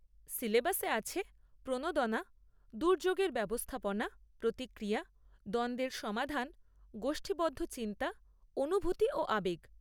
সিলেবাসে আছে প্রণোদনা, দুর্যোগের ব্যবস্থাপনা, প্রতিক্রিয়া, দ্বন্দ্বের সমাধান, গোষ্ঠীবদ্ধ চিন্তা, অনুভূতি ও আবেগ।